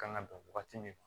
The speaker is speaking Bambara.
Kan ka dan wagati min